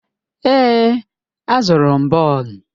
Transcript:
Èè, azụrụ m bọọlụ.